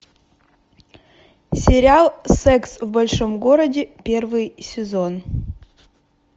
сериал секс в большом городе первый сезон